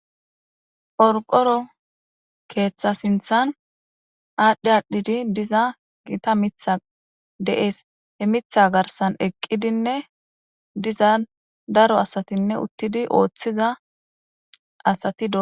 Qoriqoro ketha sinithan adhi adhi diza gitta mithay de'es he mitha garisan eqidinee diza daro asatine utidi othida asati do'sona